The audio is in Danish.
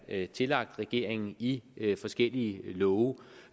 er tillagt regeringen i forskellige love